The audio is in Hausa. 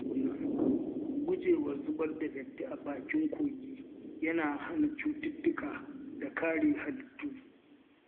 Gujewa zubar da datti a bakin kogi yana hana cututtuka da kare halittu.